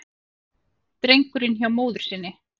Drengurinn hjá móður sinni